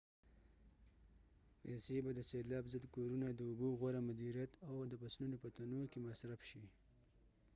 پیسې به د سیلاب ضد کورونو د اوبو غوره مدیریت او د فصلونو په تنوع کې مصرف شي